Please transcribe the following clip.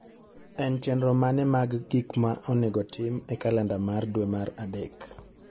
En chenro mane mag gik ma onego otim e kalenda mar dwe mar adek.